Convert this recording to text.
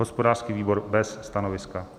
Hospodářský výbor: bez stanoviska.